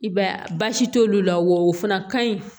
I b'a ye baasi t'olu la wa o fana ka ɲi